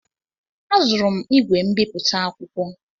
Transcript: Azụrụ m ígwè mbipụta akwụkwọ.